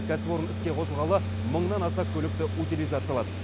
кәсіпорын іске қосылғалы мыңнан аса көлікті утилизациялады